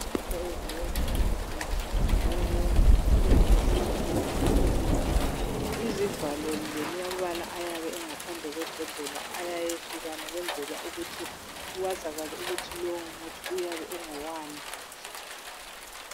IForever yenza imithi, njalo leyomithi liyabe isemagabheni, amhlophe nke! Izivalo lamabala ayabe engaphandle kwebhodlela ayehlukana. Ukuze kwazakale ukuthi lowomuthi uyabe ungowani?,